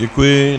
Děkuji.